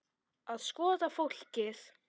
Að skoða fólkið.